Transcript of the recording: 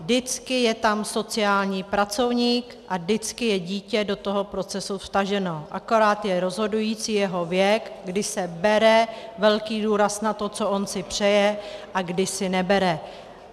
Vždycky je tam sociální pracovník a vždycky je dítě do toho procesu vtaženo, akorát je rozhodující jeho věk, kdy se bere velký důraz na to, co ono si přeje, a kdy se nebere.